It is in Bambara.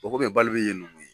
Bɔn kɔmi bali be yen nome